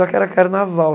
Só que era carnaval.